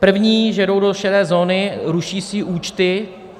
První, že jdou do šedé zóny, ruší své účty.